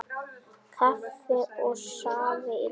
Kaffi og safi í lokin.